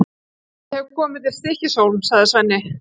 Ég hef komið til Stykkishólms, sagði Svenni.